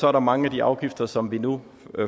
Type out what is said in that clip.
er der mange af de afgifter som vi nu